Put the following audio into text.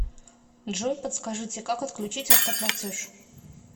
джой подскажите как отключить автоплатеж